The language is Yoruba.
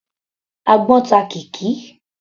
Àgbọ́n ta Kikky.